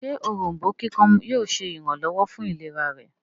ṣe Òrombó kíkan yóò ṣe iranlọwọ fún ìlera rẹ̀?